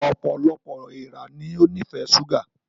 Ọpọlọpọ èèrà ní o nifẹ ṣuga